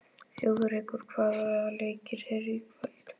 Þjóðrekur, hvaða leikir eru í kvöld?